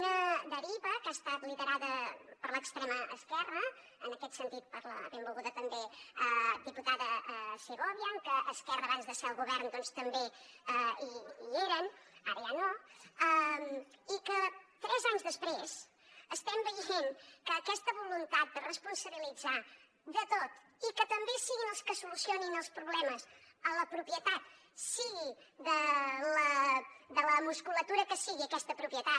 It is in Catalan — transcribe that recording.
una deriva que ha estat liderada per l’extrema esquerra en aquest sentit per la benvolguda també diputada segovia en què esquerra abans de ser al govern doncs també hi eren ara ja no i que tres anys després estem veient que aquesta voluntat de responsabilitzar se de tot i que també siguin els que solucionin els problemes a la propietat sigui de la musculatura que sigui aquesta propietat